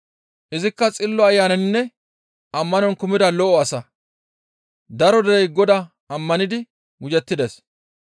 Izikka Xillo Ayananinne ammanon kumida lo7o asa. Daro derey Godaa ammanidi gujettides.